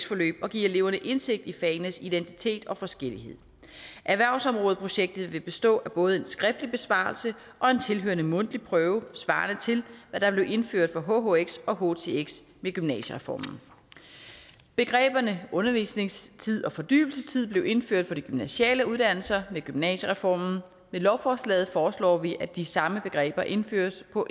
forløb og give eleverne indsigt i fagenes identitet og forskellighed erhvervsområdeprojektet vil bestå af både en skriftlig besvarelse og en tilhørende mundtlig prøve svarende til hvad der blev indført for hhx og htx ved gymnasiereformen begreberne undervisningstid og fordybelsestid blev indført for de gymnasiale uddannelser med gymnasiereformen med lovforslaget foreslår vi at de samme begreber indføres på